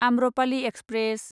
Amrapali express